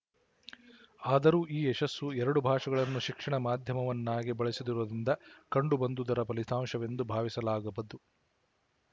ಆದರೂ ಈ ಯಶಸ್ಸು ಎರಡು ಭಾಷೆಗಳನ್ನು ಶಿಕ್ಷಣ ಮಾಧ್ಯಮವನ್ನಾಗಿ ಬಳಸಿದುದರಿಂದ ಕಂಡುಬಂದುದರ ಫಲಿತಾಂಶವೆಂದು ಭಾವಿಸಲಾಗದು